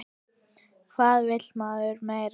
Hvað vill maður meira?